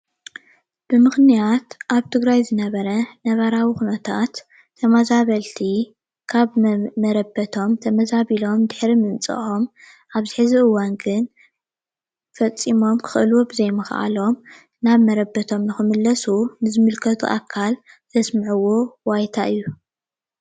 ብምኽንያት ኣብ ትግራይ ዝነበረ ነባራዊ ኹነታት ተመዛበልቲ ካብ መረበቶም ተመዛቢሎም ድሕሪ ምምፅኦም ኣብ እዚ ሕዚ እዋን ግን ፈፂሞም ክኽእልዎ ብዘይምኽኣሎም ናብ መረበቶም ንኽምለሱ ንዝምልከቶ ኣካል ዘስምዕዎ ዋይታ እዩ።